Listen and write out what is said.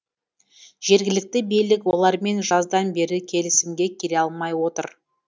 жергілікті билік олармен жаздан бері келісімге келе алмай отыр